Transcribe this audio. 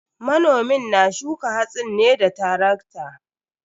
Manomin na shuka hatsin ne da tarakta.